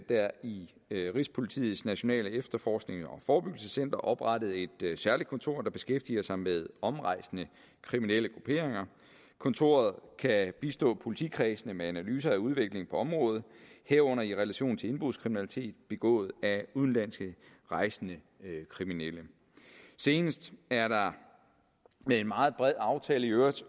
der i rigspolitiets nationale efterforsknings og forebyggelsescenter oprettet et særligt kontor der beskæftiger sig med omrejsende kriminelle grupperinger kontoret kan bistå politikredsene med analyser af udviklingen på området herunder i relation til indbrudskriminalitet begået af udenlandske rejsende kriminelle senest er der med en meget bred aftale i øvrigt